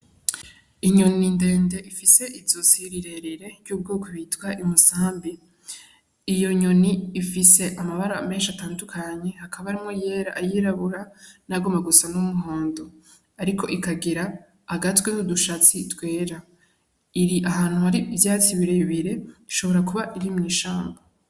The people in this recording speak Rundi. Inyoni ndende ifise izosi rirerire y'ubwoko bwitwa Umusambi. Iyo nyoni ifise amabara menshi atandukanye. Hakaba harimwo ayera, ayirabura, n'ayagomba gusa n'umuhondo. Ariko ikagira agatwe n'udushatsi twera. Iri ahantu hari ivyatsi birebire, ishobora kuba iri mw'ishamba.